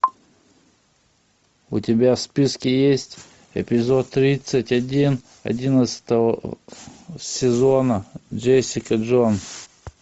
у тебя в списке есть эпизод тридцать один одиннадцатого сезона джессика джонс